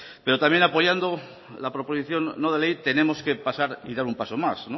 pero también apoyando la proposición no de ley tenemos que pasar y dar un paso más